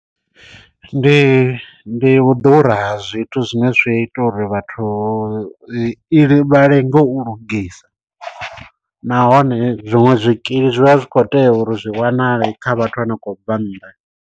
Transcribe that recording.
Ndi ndi u ḓura ha zwithu zwine zwi ita uri vhathu i vha lenge u lugisa nahone zwiṅwe zwikili zwi vha zwi khou tea uri zwi wanale kha vhathu vha ne vha khou bva nnḓa.